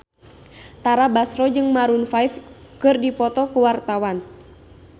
Tara Basro jeung Maroon 5 keur dipoto ku wartawan